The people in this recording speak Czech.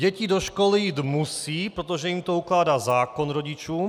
Děti do školy jít musí, protože jim to ukládá zákon - rodičům.